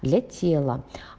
для тела